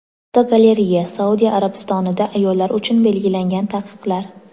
Fotogalereya: Saudiya Arabistonida ayollar uchun belgilangan taqiqlar.